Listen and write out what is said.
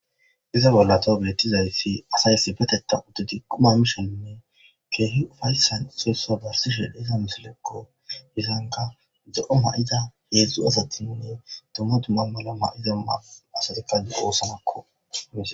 Hayssa bolla taw beetizaysdi asay issi bolla quma mishe keehi ufayssan issoy issa narsishe diza misilekko.zo7o mayida heedzdzu asatinne hara dumma dumma mayo mayida asati de7oosona.